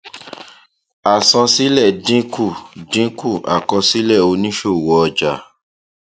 àsansílẹ dínkù dínkù àkọsílẹ òníṣòwò ọjà